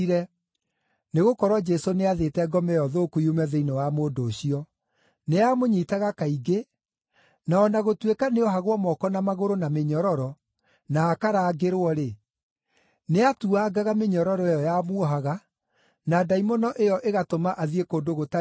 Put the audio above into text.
Nĩgũkorwo Jesũ nĩathĩte ngoma ĩyo thũku yume thĩinĩ wa mũndũ ũcio. Nĩyamũnyiitaga kaingĩ, na o na gũtuĩka nĩoohagwo moko na magũrũ na mĩnyororo, na akarangĩrwo-rĩ, nĩatuangaga mĩnyororo ĩyo yamuohaga, na ndaimono ĩyo ĩgatũma athiĩ kũndũ gũtarĩ andũ.